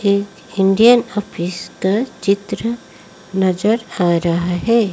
एक Indian office का चित्र नजर आ रहा है।